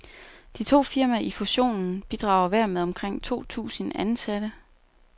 De to firmaer i fussionen bidrager hver med omkring to tusind ansatte.